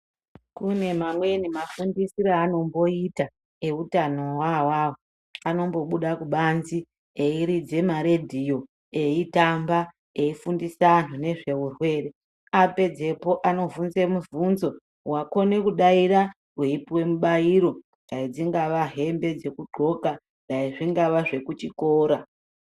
Kune mamweni mafundisiro aanomboita e utanowo awawo anombobuda kubanze eiridze maradio eitamba eifundisa anhu nezveurwere, apedzepo anobvunze mibvunzo wakone kudaira weipuwe mubairo dai dzingava hembe dzekuncoka dai zvingava zvekuchikora.